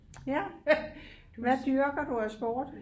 Ja hvem hvad dyrker du af sport